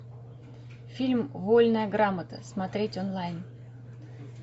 фильм вольная грамота смотреть онлайн